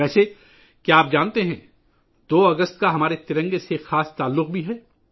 ویسے کیا آپ جانتے ہیں کہ 2 اگست کا ہمارے ترنگے سے بھی خاص تعلق ہے